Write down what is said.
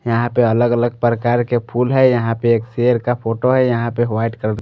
यहा पे अलग अलग प्रकार के फुल है यहा पे एक सेर का फोटो है यहा पे वाइट कलर --